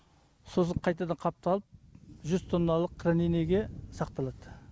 сосын қайтадан қапталып жүз тонналық хранениеге сақталады